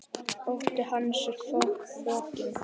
Ótti hans er fokinn.